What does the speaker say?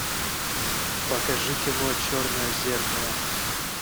покажи кино черное зеркало